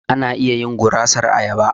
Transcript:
Ana iya yin gurasar ayaba.